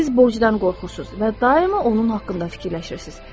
Siz borcdan qorxursunuz və daima onun haqqında fikirləşirsiniz.